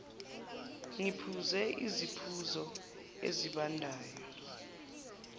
ngiphuze isiphuzo esibandayo